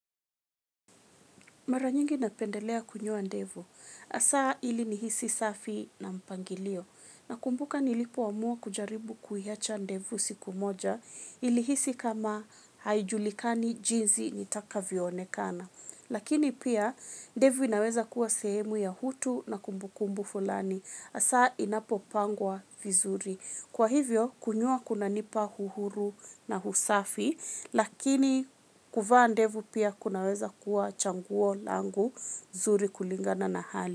Mara nyingi napendelea kunyoa ndevu. Hasa ili nihisi safi na mpangilio. Nakumbuka nilipo amua kujaribu kuiacha ndevu siku moja nilihisi kama haijulikani jinsi nitakavyoonekana. Lakini pia ndevu inaweza kuwa sehemu ya hutu na kumbukumbu fulani. Hasa inapopangwa vizuri. Kwa hivyo, kunyoa kuna nipa uhuru na usafi, lakini kuvaa ndevu pia kunaweza kuwa chaguo langu zuri kulingana na hali.